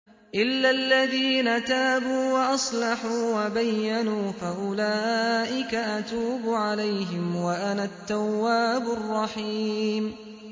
إِلَّا الَّذِينَ تَابُوا وَأَصْلَحُوا وَبَيَّنُوا فَأُولَٰئِكَ أَتُوبُ عَلَيْهِمْ ۚ وَأَنَا التَّوَّابُ الرَّحِيمُ